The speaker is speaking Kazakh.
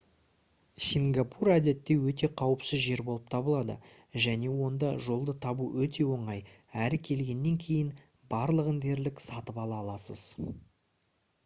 сингапур әдетте өте қауіпсіз жер болып табылады және онда жолды табу өте оңай әрі келгеннен кейін барлығын дерлік сатып ала аласыз